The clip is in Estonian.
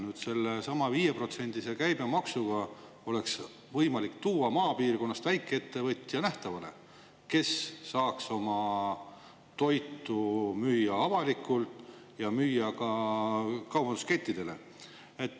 Nüüd sellesama 5%-se käibemaksuga oleks võimalik tuua maapiirkonnast väikeettevõtja nähtavale, kes saaks oma toitu müüa avalikult ja müüa ka kaubanduskettidele.